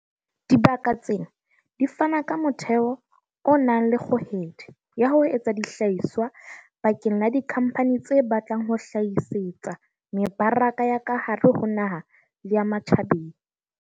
Dibaka tsena di fana ka motheo o nang le kgohedi ya ho etsa dihlahiswa bakeng la dikhampani tse batlang ho hlahisetsa mebaraka ya ka hare ho naha le ya ma tjhabeng.